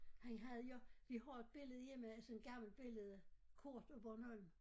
Han havde jo vi har et billede hjemme sådan et gammelt billede kort af Bornholm